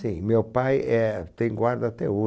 Sim, meu pai, éh, tem guarda até